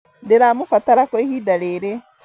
Ndiramũbatara kwa ihinda rĩrĩ